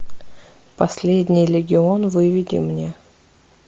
последний легион выведи мне